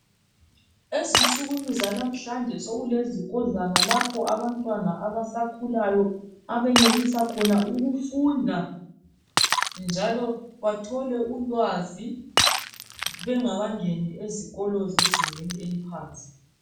Ezinsukwini zalamhlanje sokulezikodlwana lapho abantwana abasakhulayo abenelisa khona ukufunda njalo bathole ulwazi bengakangeni ezikolo zezingeni eliphansi.